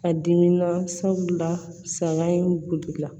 A dimi na sabula saga in la